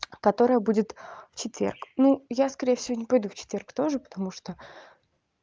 которая будет в четверг ну я скорее всего не пойду в четверг тоже потому что